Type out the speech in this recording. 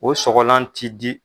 O sɔgɔlan ti di